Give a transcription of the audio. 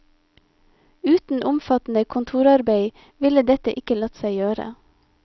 Uten omfattende kontorarbeid ville dette ikke latt seg gjøre.